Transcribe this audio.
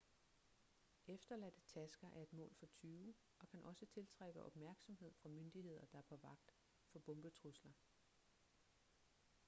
efterladte tasker er et mål for tyve og kan også tiltrække opmærksomhed fra myndigheder der er på vagt for bombetrusler